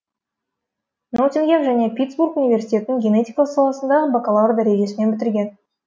ноттингем және питтсбург университетін генетика саласындағы бакалавр дәрежесімен бітірген